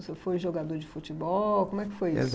O senhor foi jogador de futebol, como é que foi isso?